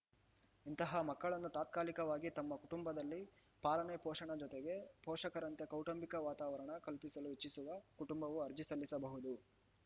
ಇಂತಹ ಮಕ್ಕಳನ್ನು ತಾತ್ಕಾಲಿಕವಾಗಿ ತಮ್ಮ ಕುಟುಂಬದಲ್ಲಿ ಪಾಲನೆ ಪೋಷಣೆ ಜೊತೆಗೆ ಪೋಷಕರಂತೆ ಕೌಟುಂಬಿಕ ವಾತಾವರಣ ಕಲ್ಪಿಸಲು ಇಚ್ಛಿಸುವ ಕುಟುಂಬವು ಅರ್ಜಿ ಸಲ್ಲಿಸಬಹುದು